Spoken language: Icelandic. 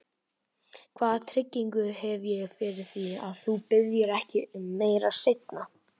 Hvaða tryggingu hef ég fyrir því, að þú biðjir ekki um meira seinna?